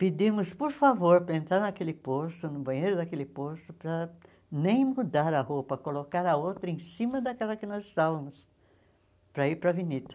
Pedimos, por favor, para entrar naquele poço, no banheiro daquele poço, para nem mudar a roupa, colocar a outra em cima daquela que nós estávamos, para ir para a avenida.